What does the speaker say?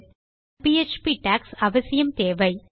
நம் PHP docs அவசியம் தேவை